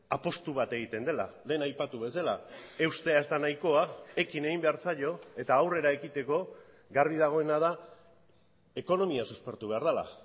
apustu bat egiten dela lehen aipatu bezala eustea ez da nahikoa ekin egin behar zaio eta aurrera ekiteko garbi dagoena da ekonomia suspertu behar dela